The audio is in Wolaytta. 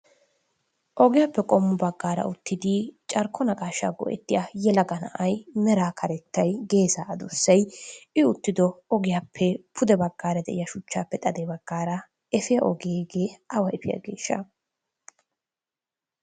Ogiyaappe qomo bagara uttidi carkko naqashsha go'ettiyaa yelagga na'ay meraa katettay geessa adussay i uttidggo ogiyaappe pudde baggra deiyaa shuchchaappe xade baggara efiyaa ogee hegee awa efiyaagesha?